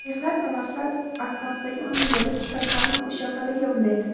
mehnat va maqsad asnosidagi umr yo‘li kitobxonni mushohadaga undaydi.